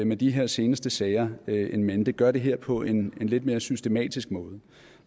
med de her seneste sager in mente gør det her på en lidt mere systematisk måde